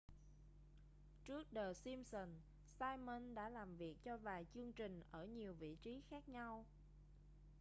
trước the simpsons simon đã làm việc cho vài chương trình ở nhiều vị trí khác nhau